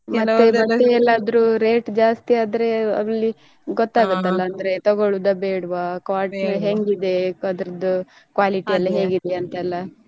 ಬಟ್ಟೆ ಎಲ್ಲಾದ್ರೂ rate ಜಾಸ್ತಿ ಆದ್ರೆ ಅಲ್ಲಿ ಗೊತ್ತಾಗುತ್ತ ಅಲ್ವಾ ತಗೋಳೋದ ಬೇಡ್ವಾ quality ಹೆಂಗಿದೆ ಅದ್ರದ್ದು quality ಎಲ್ಲ ಹೇಗಿದೆ ಅಂತ ಎಲ್ಲ.